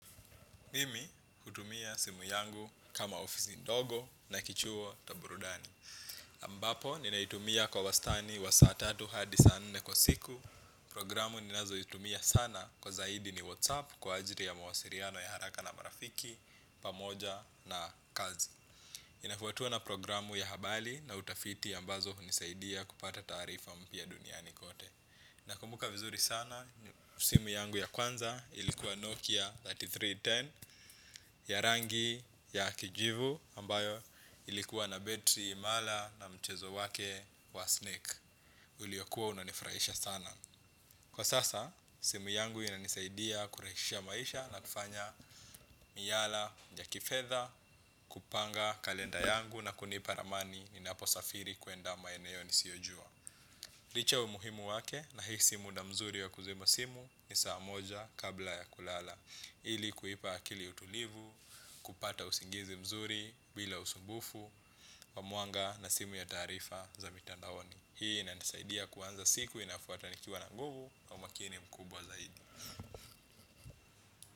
Mimi hutumia simu yangu kama ofisi ndogo na kichuo cha burudani. Ambapo, ninaitumia kwa wastani wa saa tatu hadi sana nne kwa siku. Programu ninazoitumia sana kwa zaidi ni WhatsApp kwa ajili ya mawasiliano ya haraka na marafiki, pamoja na kazi. Inafuatiwa na programu ya habari na utafiti ambazo unisaidia kupata taarifa mpya duniani kote. Nakumbuka vizuri sana, simu yangu ya kwanza ilikuwa Nokia elfu tatu na mia tatu na kumi. Ya rangi ya kijivu ambayo ilikuwa na betri imara na mchezo wake wa snake. Uliokuwa unanifrahisha sana. Kwa sasa, simu yangu inanisaidia kurahishisha maisha na kufanya miala ya kifedha, kupanga kalenda yangu na kunipa ramani ninaposafiri kwenda maeneo nisiyojua. Licha umuhimu wake nahisi muda mzuri wa kuzima simu ni saa moja kabla ya kulala. Ili kuipa akili utulivu, kupata usingizi mzuri bila usumbufu, wa mwanga na simu ya taarifa za mitandaoni. Hii na inanisaidia kuwanza siku inafuata nikiwa na nguvu na umakini mkubwa zaidi.